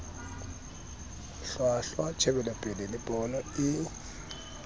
hlwahlwa tjhebelopele le pono e